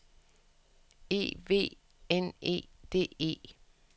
E V N E D E